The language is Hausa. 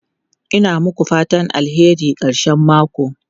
Ina muku fatan alheri karshen mako.